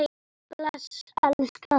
Bless elskan! sagði mamma.